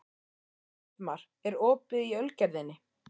Eldmar, er opið í Ölgerðinni?